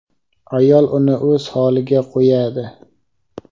ayol uni o‘z holiga qo‘yadi.